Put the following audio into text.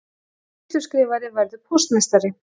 Sýsluskrifari verður póstmeistari